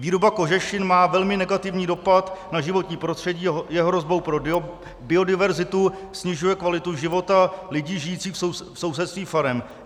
Výroba kožešin má velmi negativní dopad na životní prostředí a je hrozbou pro biodiverzitu, snižuje kvalitu života lidí žijících v sousedství farem.